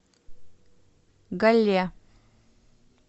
галле